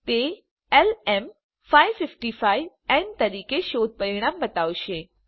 તે lm555ન તરીકે શોધ પરિણામ બતાવશે